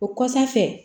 O kɔsan fɛ